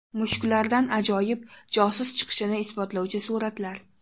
Mushuklardan ajoyib josus chiqishini isbotlovchi suratlar.